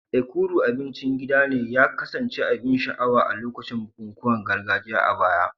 Ekuru, abincin gida, ya kasance abin sha'awa a lokacin bukukuwan gargajiya a baya.